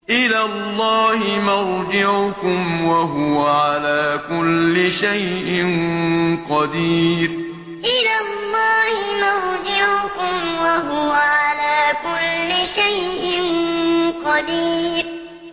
إِلَى اللَّهِ مَرْجِعُكُمْ ۖ وَهُوَ عَلَىٰ كُلِّ شَيْءٍ قَدِيرٌ إِلَى اللَّهِ مَرْجِعُكُمْ ۖ وَهُوَ عَلَىٰ كُلِّ شَيْءٍ قَدِيرٌ